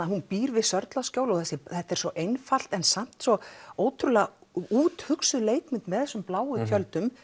hún býr við Sörlaskjól og þetta er svo einfalt en samt svo úthugsað með þessum bláu tjöldum